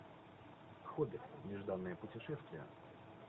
хоббит нежданное путешествие